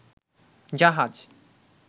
জাহাজ